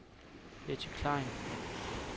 Betty Klein